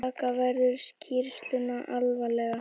Taka verður skýrsluna alvarlega